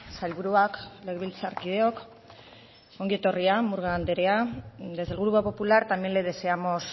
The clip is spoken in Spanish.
sailburuak legebiltzarkideok ongi etorria murga anderea desde el grupo popular también le deseamos